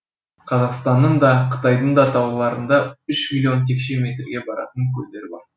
қазақстанның да қытайдың да тауларында үш миллион текше метрге баратын көлдер бар